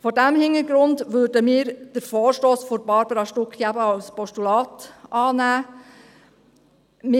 Vor diesem Hintergrund würden wir den Vorstoss von Barbara Stucki eben als Postulat annehmen.